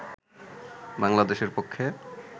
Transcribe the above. বাংলাদেশের পক্ষে